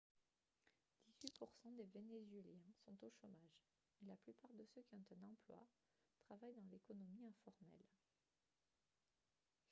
dix-huit pour cent des vénézuéliens sont au chômage et la plupart de ceux qui ont un emploi travaillent dans l'économie informelle